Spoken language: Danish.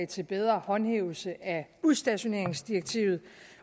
til bedre håndhævelse af udstationeringsdirektivet